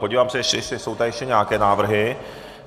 Podívám se, jestli jsou tady ještě nějaké návrhy.